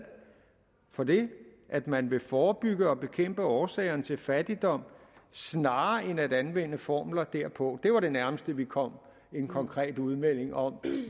for det at man vil forebygge og bekæmpe årsagerne til fattigdom snarere end at anvende formler derpå det var det nærmeste vi kom en konkret udmelding om